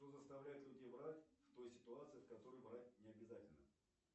что заставляет людей врать в той ситуации в которой врать необязательно